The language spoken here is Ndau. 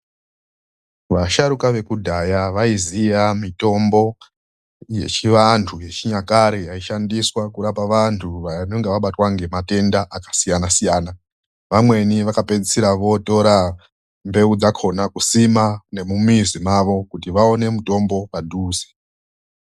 Vasharukwa vekudhaya vaiziya mitombo yechivantu yechinyakare yaishandiswa kurapa vantu vanenge vabatwa nematenda akasiyana- siyana. Vamweni vakapedzisira votora mbeu dzakona kusima nemumimizi mavo kuti vaone mitombo padhuze.